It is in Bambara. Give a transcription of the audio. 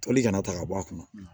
Toli kana ta ka bɔ a kɔnɔ